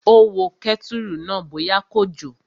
Ó wo kẹ́tùrù náà bóyá kò jò